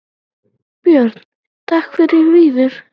Björn: Takk fyrir það Víðir.